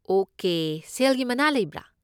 Okay, ꯁꯦꯜꯒꯤ ꯃꯅꯥ ꯂꯩꯕ꯭ꯔꯥ?